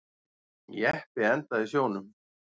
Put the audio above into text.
Jeppi endaði í sjónum